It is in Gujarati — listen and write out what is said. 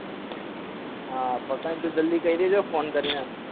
હા પાકને તું કઈ દેજે જલ્દી ફોન કરીને